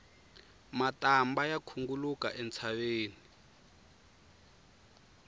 matambha ya khunguluka entshaveni